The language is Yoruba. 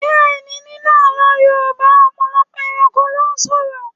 Bẹ́ẹ̀ni, nínú Àlọ́ Yorùbá, ọ̀pọ̀lọpọ̀ ẹranko ló sọ̀rọ̀.